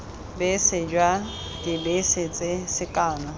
bese jwa dibese tse sekano